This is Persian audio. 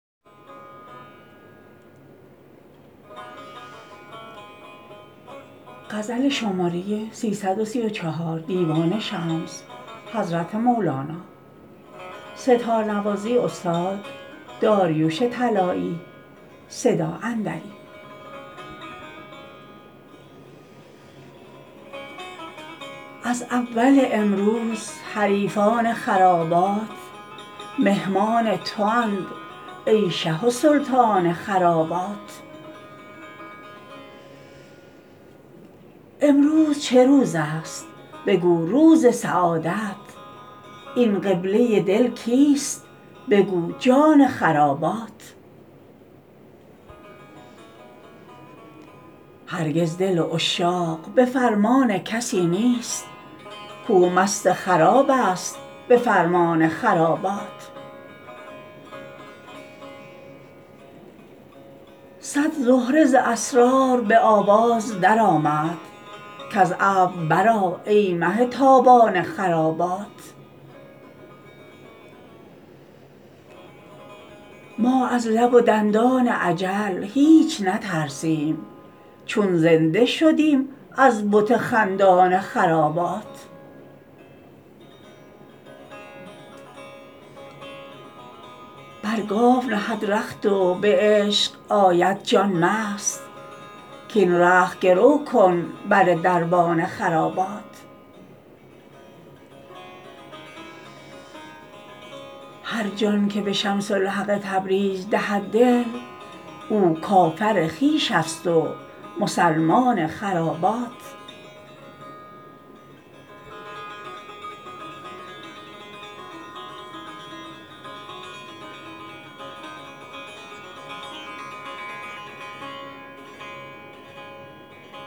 از اول امروز حریفان خرابات مهمان توند ای شه و سلطان خرابات امروز چه روزست بگو روز سعادت این قبله دل کیست بگو جان خرابات هرگز دل عشاق به فرمان کسی نیست کاو مست خرابست به فرمان خرابات صد زهره ز اسرار به آواز درآمد کز ابر برآ ای مه تابان خرابات ما از لب و دندان اجل هیچ نترسیم چون زنده شدیم از بت خندان خرابات بر گاو نهد رخت و به عشق آید جان مست کاین رخت گرو کن بر دربان خرابات هر جان که به شمس الحق تبریز دهد دل او کافر خویش است و مسلمان خرابات